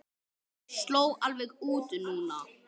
Mér sló alveg út núna.